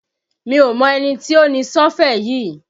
Mi ò mọ ẹni tí ó ni Sọ́fẹ̀ yí